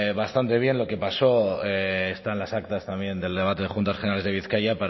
bastante bien lo que pasó está en las actas también del debate de juntas generales de bizkaia